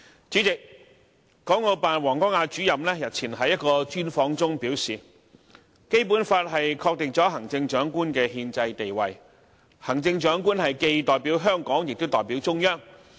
主席，港澳辦王光亞主任日前在一個專訪中表示，《基本法》確定了行政長官的憲制地位，行政長官既代表香港，也代表了中央。